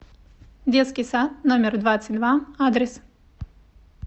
детский сад номер двадцать два адрес